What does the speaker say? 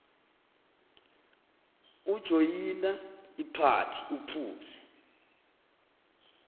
ujoyina iphathi uphuze